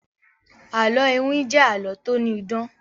àlọ iwin jé àlọ to ni idán.